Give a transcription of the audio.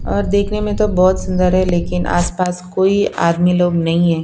और देखने में तो बहुत सुंदर है लेकिन आसपास कोई आदमी लोग नहीं है।